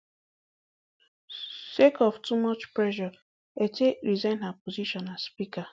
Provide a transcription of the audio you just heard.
sake of too much pressure etteh resign her position as speaker